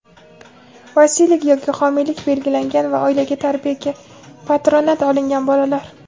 vasiylik yoki homiylik belgilangan va oilaga tarbiyaga (patronat) olingan bolalar;.